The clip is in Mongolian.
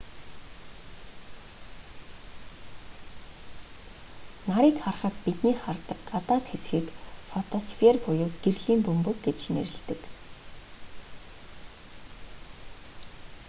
нарыг харахад бидний хардаг гадаад хэсгийг фотосфер буюу гэрлийн бөмбөг гэж нэрлэдэг